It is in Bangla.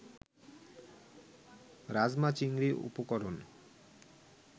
রাজমা-চিংড়ি উপকরণ